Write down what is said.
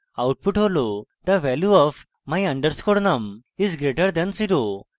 output হল the value of my _ num is greater than 0